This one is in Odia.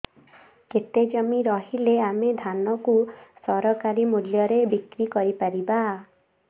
କେତେ ଜମି ରହିଲେ ଆମେ ଧାନ କୁ ସରକାରୀ ମୂଲ୍ଯରେ ବିକ୍ରି କରିପାରିବା